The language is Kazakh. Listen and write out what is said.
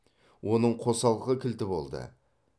оның қосалқы кілті болды